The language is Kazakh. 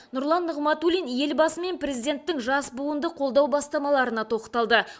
нұрлан нығматулин елбасы мен президенттің жас буынды қолдау бастамаларына тоқталды